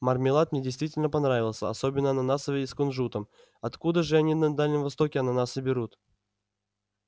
мармелад мне действительно понравился особенно ананасовый и с кунжутом откуда же они на дальнем востоке ананасы берут